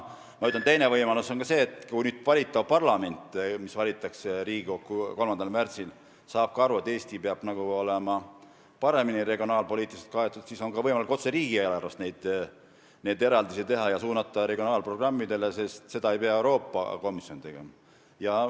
Aga teine võimalus on see, et kui parlament, mis valitakse 3. märtsil, saab ka aru, et Eesti peab olema regionaalpoliitiliselt paremini kaetud, siis on võimalik otse riigieelarvest neid eraldisi teha ja suunata regionaalprogrammidele, seda ei pea tegema Euroopa Komisjon.